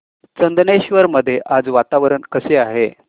चंदनेश्वर मध्ये आज वातावरण कसे आहे